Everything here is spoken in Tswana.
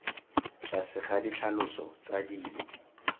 tlase ga ditlhaloso tsa dilo